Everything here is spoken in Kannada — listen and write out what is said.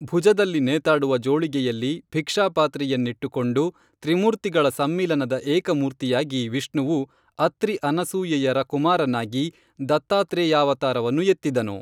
ಭುಜದಲ್ಲಿ ನೇತಾಡುವ ಜೋಳಿಗೆಯಲ್ಲಿ ಭಿಕ್ಷಾಪಾತ್ರೆಯ ನಿಟ್ಟುಕೊಂಡು ತ್ರಿಮೂರ್ತಿಗಳ ಸಮ್ಮಿಲನದ ಏಕ ಮೂರ್ತಿಯಾಗಿ ವಿಷ್ಣುವು ಅತ್ರಿ ಅನಸೂಯೆಯರ ಕುಮಾರನಾಗಿ ದತ್ತಾತ್ರೇಯಾವತಾರವನ್ನು ಎತ್ತಿದನು